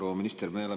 Proua minister!